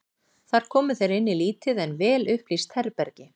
Þar komu þeir inn í lítið en vel upplýst herbergi.